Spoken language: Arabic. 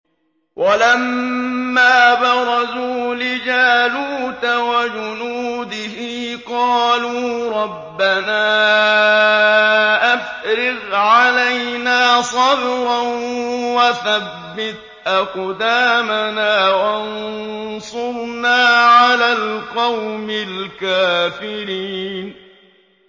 وَلَمَّا بَرَزُوا لِجَالُوتَ وَجُنُودِهِ قَالُوا رَبَّنَا أَفْرِغْ عَلَيْنَا صَبْرًا وَثَبِّتْ أَقْدَامَنَا وَانصُرْنَا عَلَى الْقَوْمِ الْكَافِرِينَ